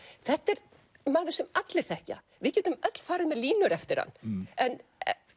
þetta er maður sem allir þekkja við getum öll farið með línur eftir hann en